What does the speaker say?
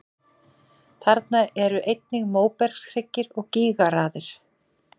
Þarna eru einnig móbergshryggir og gígaraðir.